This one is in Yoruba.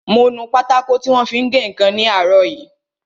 Mo nu pátákò tí wọ́n fi ń gé ǹkan ní àárọ̀ yìí